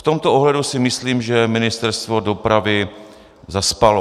V tomto ohledu si myslím, že Ministerstvo dopravy zaspalo.